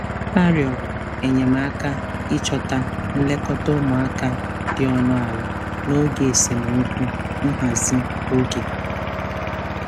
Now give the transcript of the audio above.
Ha rịọrọ enyemaka ịchọta nlekọta ụmụaka dị ọnụ ala n'oge esemokwu nhazi oge.